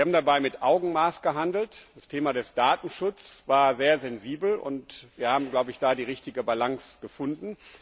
Wir haben dabei mit Augenmaß gehandelt. Das Thema Datenschutz war sehr sensibel, und wir haben da die richtige Balance gefunden.